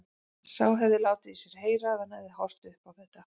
Sá hefði látið í sér heyra ef hann hefði horft upp á þetta!